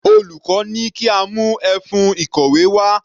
Olùkọ́ ní kí a mú ẹfun ìkọ̀wé wá.